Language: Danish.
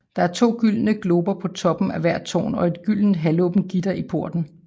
Der er to gyldne glober på toppen af hvert tårn og et gyldent halvåbent gitter i porten